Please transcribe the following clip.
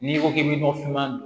N'i ko k'i bɛ nɔgɔfinma